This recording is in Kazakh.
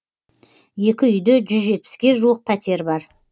екі үйде жүз жетпіске жуық пәтер бар